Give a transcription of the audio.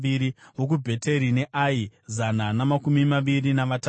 vokuBheteri neAi, zana namakumi maviri navatatu;